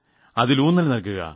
അതിൽ ഊന്നൽ നൽകുക